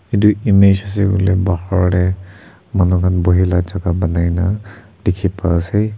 itu image ase koile bahar te manu khan buhie la jaga banai na dikhi pai ase.